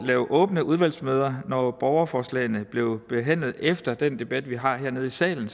have åbne udvalgsmøder når borgerforslagene blev behandlet efter den debat vi har hernede i salen